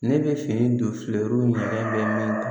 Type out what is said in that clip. Ne bɛ fini don filɛruw ɲɛŋɛ bɛ min na